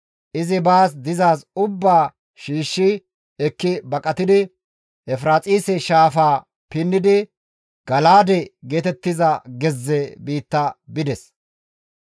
Izi baas dizaaz ubbaa shiishshi ekki baqatidi Efiraaxise Shaafaa pinnidi Gala7aade geetettiza gezze biitta bides.